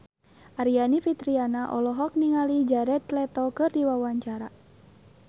Aryani Fitriana olohok ningali Jared Leto keur diwawancara